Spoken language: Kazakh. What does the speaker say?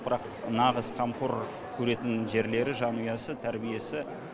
бірақ нағыз қамқор көретін жерлері жанұясы тәрбиесі